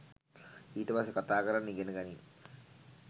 ඊට පස්සෙ කතා කරන්න ඉගෙන ගනින්